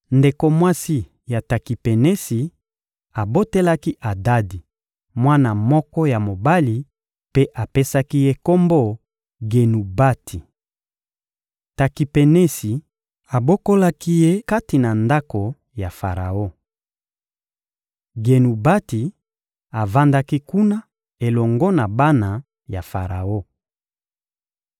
Ndeko mwasi ya Takipenesi abotelaki Adadi mwana moko ya mobali mpe apesaki ye kombo «Genubati.» Takipenesi abokolaki ye kati na ndako ya Faraon. Genubati avandaki kuna elongo na bana ya Faraon.